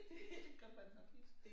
Det det gør man nok ikke